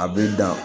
A bɛ dan